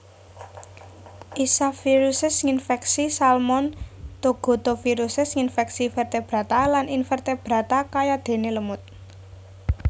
Isaviruses nginfèksi salmon thogotoviruses nginfèksi vertebrata lan invertebrata kayadéné lemut